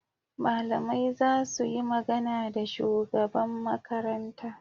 Malamai za su yi magana da shugaban Makaranta.